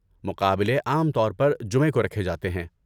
مقابلے عام طور پر جمعہ کو رکھے جاتے ہیں۔